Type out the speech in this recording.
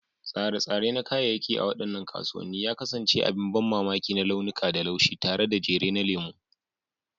Tsare-tsare na kayayyaki a waɗannan kasuwanni ya kasance abin ban mamaki na launuka da laushi, tare da jere na lemu.